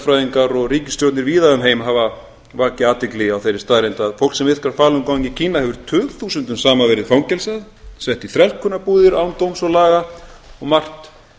og mannréttindalögfræðingar og ríkisstjórnir víða um heim hafa vakið athygli á þeirri staðreynd að fólk sem iðkar falun gong í kína hefur tugþúsundum saman verið fangelsað sett í þrælkunarbúðir án dóms og laga og margt